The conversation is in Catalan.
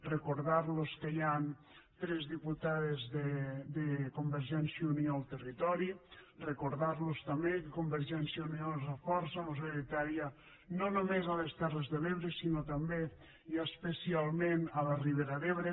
recordar los que hi han tres diputades de convergència i unió al territori recordar los també que convergència i unió és la força majoritària no només a les terres de l’ebre sinó també i especialment a la ribera d’ebre